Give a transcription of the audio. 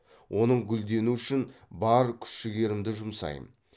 оның гүлдену үшін бар күш жігерімді жұмсайм